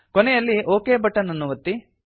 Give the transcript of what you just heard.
ಕೊನೆಯಲ್ಲಿ okay button ಅನ್ನು ಒತ್ತಿ